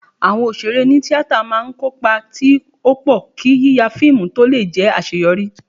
Awọn òṣèré oní-tíatà máa ń kó ipa tí ó pọ̀, kí yíya fíìmù tó lè jẹ́ àṣeyọrí